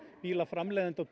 bílaframleiðenda og